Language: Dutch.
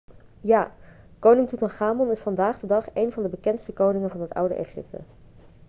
ja koning toetanchamon is vandaag de dag een van de bekendste koningen van het oude egypte